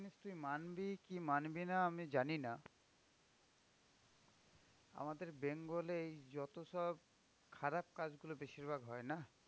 জিনিস তুই মানবি কি মানবিনা আমি জানিনা? আমাদের bengal এই যতসব খারাপ কাজ গুলো বেশিরভাগ হয় না?